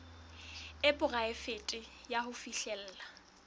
e poraefete ya ho fihlella